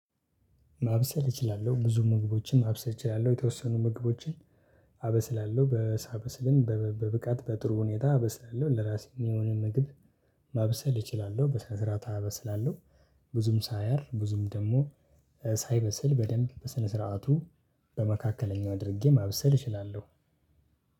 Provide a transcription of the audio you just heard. ማብሰል እችላለሁ ብዙ ምግቦችን ማብሰል እችላለሁ የተወሰኑ ምግቦችን። አበስላለሁ ሳበስልም በብቃት በጥሩ ሁኔታ አበስላለሁ ለራሴ የሚሆንን ምግብ። ማብሰል እችላለሁ በስነ ስርዓት አበስላለሁ። ብዙም ሳያር ብዙም ደግሞ ሳይበስል በደንብ በስነ ስርዓቱ በመካከለኛው አድርጌ ማብሰል እችላለሁ።